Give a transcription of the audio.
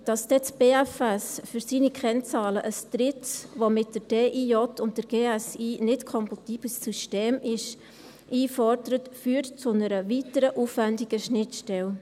Dass dann das BFS für seine Kennzahlen ein drittes System einfordert, das mit jenem der DIJ und der GSI nicht kompatibel ist, führt zu einer weiteren aufwendigen Schnittstelle.